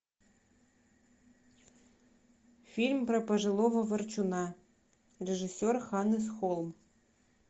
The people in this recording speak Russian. фильм про пожилого ворчуна режиссер ханнес холм